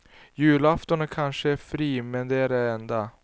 Julafton är kanske fri men det är det enda.